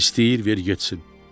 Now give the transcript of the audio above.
İstəyir ver getsin.